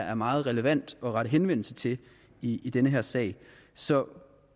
er meget relevant at rette henvendelse til i den her sag så